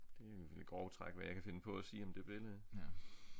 Det er jo i grove træk hvad jeg kan finde på at sige om det billede